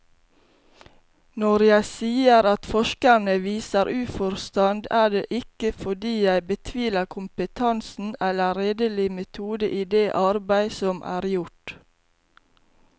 Når jeg sier at forskerne viser uforstand, er det ikke fordi jeg betviler kompetansen eller redelig metode i det arbeid som er gjort.